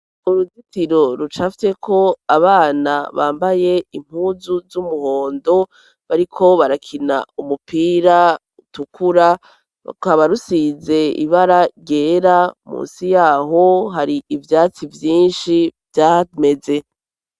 Uruzitiro rucafyeko abana bambaye impuzu z'umuhondo bariko barakina umupira utukura rukaba rusize ibara ryera musi yaho hari ivyatsi vyinshi vyameze.